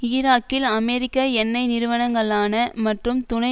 ஈராக்கில் அமெரிக்க எண்ணெய் நிறுவனங்களான மற்றும் துணை